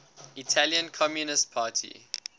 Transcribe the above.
italian communist party